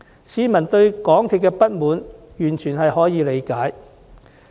市民對港鐵公司感到不滿，完全可以理解。